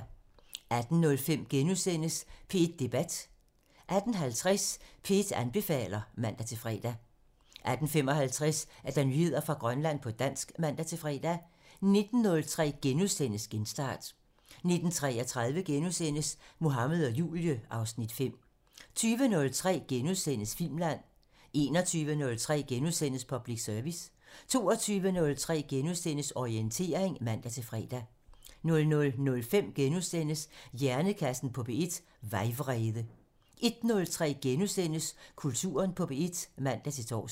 18:05: P1 Debat (Afs. 40)* 18:50: P1 anbefaler (man-fre) 18:55: Nyheder fra Grønland på dansk (man-fre) 19:03: Genstart (Afs. 172)* 19:33: Mohammed og Julie (Afs. 5)* 20:03: Filmland (Afs. 40)* 21:03: Public Service * 22:03: Orientering *(man-fre) 00:05: Hjernekassen på P1: Vejvrede (Afs. 40)* 01:03: Kulturen på P1 *(man-tor)